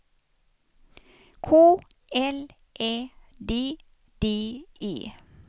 K L Ä D D E